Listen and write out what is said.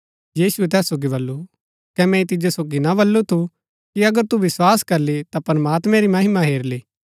यीशुऐ तैस सोगी बल्लू कै मैंई तिजो सोगी ना बल्लू थू कि अगर तू विस्वास करली ता प्रमात्मैं री महिमा हेरली